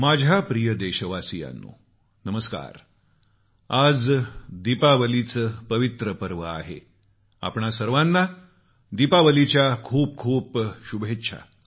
माझ्या प्रिय देशवासियांनो नमस्कार आज दीपावलीचं पवित्र पर्व आहे आपणा सर्वांना दीपावलीच्या खूप खूप शुभेच्छा